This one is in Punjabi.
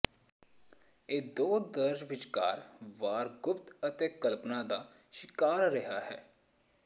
ਇਹ ਦੋ ਦਰਜ ਵਿਚਕਾਰ ਵਾਰ ਗੁਪਤ ਅਤੇ ਕਲਪਨਾ ਦਾ ਸ਼ਿਕਾਰ ਰਿਹਾ ਹੈ